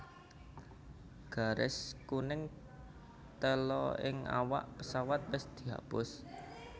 Garis kuning tela ing awak pesawat wis dihapus